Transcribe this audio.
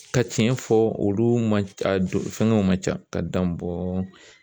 Ka cɛn fɔ olu ma a fɛngɛw man ca ka dan bɔ